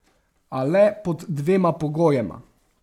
A le pod dvema pogojema.